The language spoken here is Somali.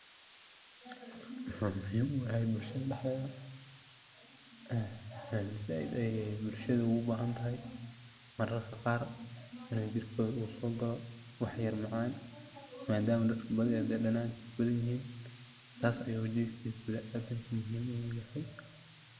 Beya u hayo mashine daxtetha, ee saait Aya bulshada ugu bahantahay mararka Qaar, inu jirkotha u sokaloh waxyara oo macan madama dadka danana u bathanyahin sas ayu jirka binaadamka muhim I yahay.